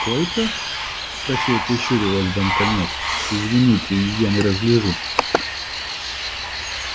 сколько спросил прищуриваясь банкомёт извините я не разгляжу